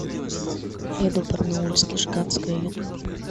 эдо барнаульский жиганская ютуб